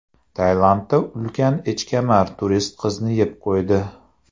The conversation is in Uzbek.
Tailandda ulkan echkemar turist qizni yeb qo‘ydi.